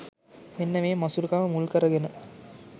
මෙන්න මේ මසුරුකම මුල්කරගෙන